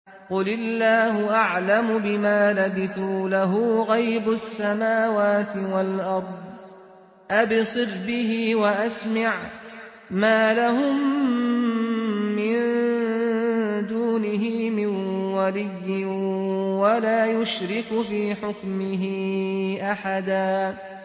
قُلِ اللَّهُ أَعْلَمُ بِمَا لَبِثُوا ۖ لَهُ غَيْبُ السَّمَاوَاتِ وَالْأَرْضِ ۖ أَبْصِرْ بِهِ وَأَسْمِعْ ۚ مَا لَهُم مِّن دُونِهِ مِن وَلِيٍّ وَلَا يُشْرِكُ فِي حُكْمِهِ أَحَدًا